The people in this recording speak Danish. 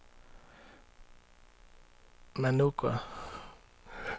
Managua